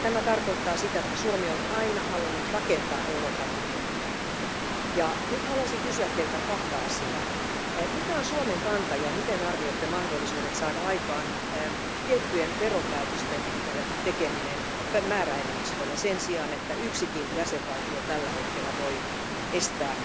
Tämä tarkoittaa sitä, että Suomi on aina halunnut rakentaa Euroopan unionia. Nyt haluaisin kysyä Teiltä kahta asiaa. Mikä on Suomen kanta ja miten arvioitte mahdollisuuksia saada aikaan tiettyjen veropäätösten tekeminen määräenemmistöllä sen sijaan, että yksikin jäsenvaltio tällä hetkellä voi estää